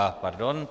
Aha, pardon.